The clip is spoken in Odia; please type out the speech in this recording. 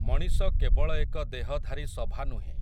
ମଣିଷ କେବଳ ଏକ ଦେହଧାରୀ ସଭା ନୁହେଁ ।